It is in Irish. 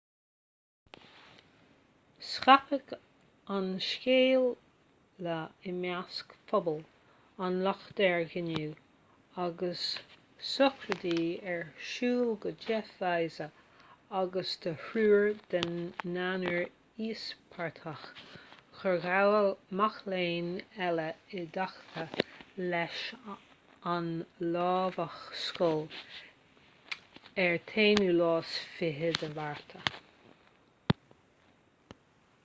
scaipeadh an scéala i measc phobal an locha dheirg inniu agus sochraidí ar siúl do jeff weise agus do thriúr den naonúr íospartach gur gabhadh mac léinn eile i dtaca leis an lámhach scoile ar an 21 márta